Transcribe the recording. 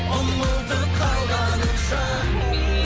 ұмытып қалғаныңша